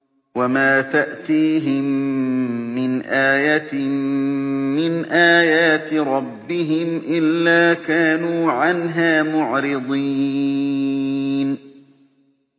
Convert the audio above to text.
وَمَا تَأْتِيهِم مِّنْ آيَةٍ مِّنْ آيَاتِ رَبِّهِمْ إِلَّا كَانُوا عَنْهَا مُعْرِضِينَ